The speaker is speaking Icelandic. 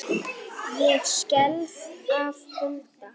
Ég skelf af kulda.